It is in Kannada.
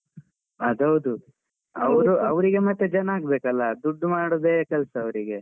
ಅದೌದು. ಅವ್ರು ಅವರಿಗೆ ಮತ್ತೆ ಜನ ಆಗ್ಬೇಕಲ್ಲ, ದುಡ್ಡು ಮಾಡುದೇ ಕೆಲ್ಸಾ ಅವರಿಗೆ.